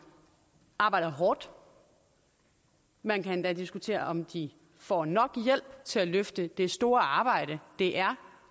arbejder hårdt man kan endda diskutere om de får nok hjælp til at løfte det store arbejde det er